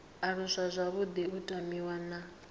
aluswa zwavhuḓi u tamiwa na